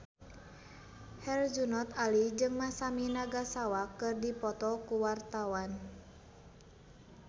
Herjunot Ali jeung Masami Nagasawa keur dipoto ku wartawan